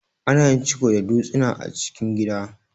Ana yin ciko da dutsina a cikin gida.